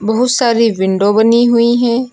बहुत सारी विंडो बनी हुई हैं।